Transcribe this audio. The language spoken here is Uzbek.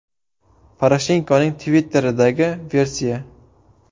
Poroshenkoning Twitter’idagi versiya.